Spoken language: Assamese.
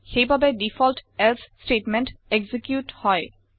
সেইবাবে দিফল্ত এলছে ষ্টেটমেণ্ট এক্সিকিউত হয়